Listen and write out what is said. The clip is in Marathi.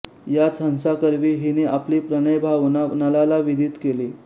याच हंसाकरवी हिने आपली प्रणयभावना नलाला विदीत केली